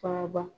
Faga ba